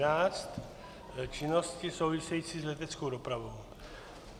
N513 - činnosti související s leteckou dopravou.